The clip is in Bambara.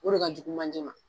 O de ka jugu manjɛ ma